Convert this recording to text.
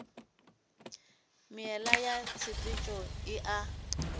meela ya tshepetšo e a